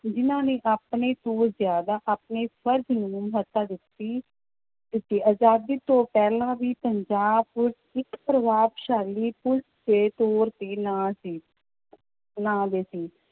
ਜਿੰਨਾ ਨੇ ਆਪਣੇ ਤੋਂ ਜ਼ਿਆਦਾ ਆਪਣੇ ਫ਼ਰਜ਼ ਨੂੰ ਮਹੱਤਤਾ ਦਿੱਤੀ ਦਿੱਤੀ, ਆਜ਼ਾਦੀ ਤੋਂ ਪਹਿਲਾਂ ਵੀ ਪੰਜਾਬ ਪੁਲਿਸ ਇੱਕ ਪ੍ਰਭਾਵਸ਼ਾਲੀ ਪੁਲਿਸ ਦੇ ਤੌਰ ਤੇ ਨਾਂ ਸੀ ਸੀ